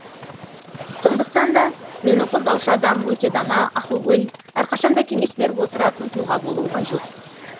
сондықтан да мені қолдаушы адам өте дана ақылгөй әрқашанда кеңес беріп отыратын тұлға болуы қажет